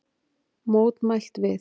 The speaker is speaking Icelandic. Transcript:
Mótmælt við